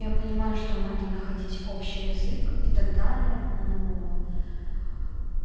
я понимаю что надо находить общий язык и так далее но